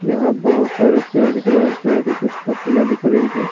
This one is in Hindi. यहां बहुत सारे पेड़ दिख रहे हैं पेड़ की कुछ पत्तियां दिख रही हैं।